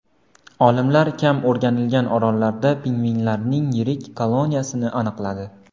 Olimlar kam o‘rganilgan orollarda pingvinlarning yirik koloniyasini aniqladi.